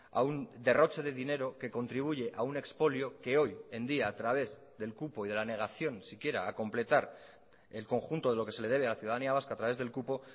a un derroche de dinero que contribuye a un expolio que hoy en día a través del cupo y de la negación siquiera a completar el conjunto de lo que se le debe a la ciudadanía vasca a través del cupo